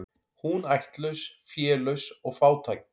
Hún ættlaus, félaus og fátæk.